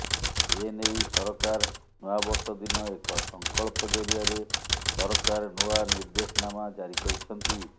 ଏ ନେଇ ସରକାର ନୂଆବର୍ଷ ଦିନ ଏକ ସଂକଳ୍ପ ଜରିଆରେ ସରକାର ନୂଆ ନିର୍ଦ୍ଦେଶନାମା ଜାରି କରିଛନ୍ତି